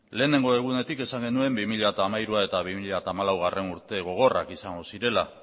lehenengo egunetik esan genuen bi mila hamairugarrena eta bi mila hamalaugarrena urte gogorrak izan zirela